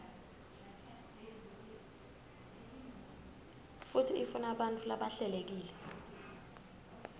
futsi ifunabantfu labahlelekile